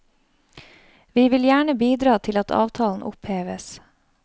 Vi vil gjerne bidra til at avtalen oppheves.